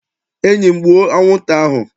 Enyi m, gbuo anwụnta ahụ!